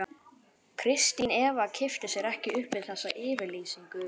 Kristín Eva kippti sér ekki upp við þessa yfirlýsingu.